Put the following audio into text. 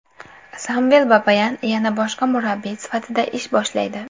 Samvel Babayan yana bosh murabbiy sifatida ish boshlaydi.